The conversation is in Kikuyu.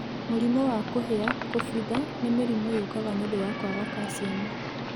Mũrimũ wa kũhĩa, kũbutha nĩ mĩrimũ yũkaga niũndũ wa kwaga calcium